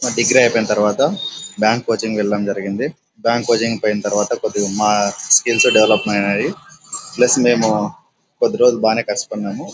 ఆ డిగ్రీ ఐపోయిన తరువాత బ్యాంక్ కోచింగ్ వెళ్లడం జరిగింది బ్యాంక్ కోచింగ్ పోయిన తరువాత కొద్దిగ మా స్కిల్స్ డెవలప్ ఐనాయి ప్లస్ మేము కొద్దీ రోజులు బాగానే కష్ట పడినాము --